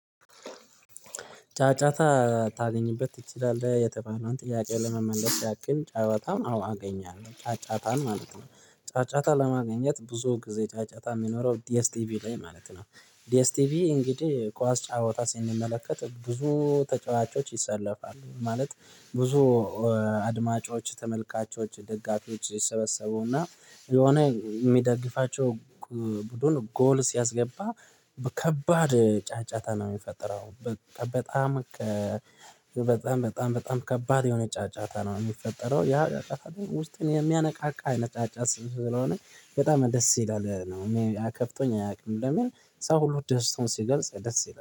ጫጫታ ታገኝበት ትችላለህ የተባለውን ጥያቄውን ለመመለስ ያክለሰ ጨዋታን አዎ አገኛለሁ ጫጫታን ማለት ነው። ጫጫታ ለማግኘት ብዙ ጊዜ ጫጫታ የሚኖረው ዲኤስቲቪ ላይ ማለት ነው። ዲኤስ ቲቪ እንግዲህ ኳስ ጫወታ ስንመለከት ብዙ ተጫዋቾች ይሰለፋሉ ማለት ብዙ አድማጮች ተመልካቾች ደጋፊዎች ይሰበሰቡና ለሆነ የሚደግፋቸው ቡድን ጎል ሲያስገባ ከባድ ጫጫታ ነው የሚፈጠረው። በጣም በጣም በጣም በጣም ከባድ የሆነ ጫጫታ ነው የሚፈጠረው ያ ጫጫታ ደሞ ውስጥን የሚያነቃቃ አይነት ጫጫታ ስለሆነ። በጣም ደስ ይላል ነው ያከፍቶኝ አያውቅም። ለምን ሰው ሁሉ ደስታውን ሲገልጽ ለስ ሲገልጽ